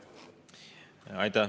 Aitäh!